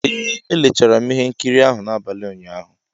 Ee, leechara m ihe nkiri ahụ n'abalị ụnyaahụ.